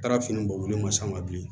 Taara fini bɔ olu ma s'a ma bilen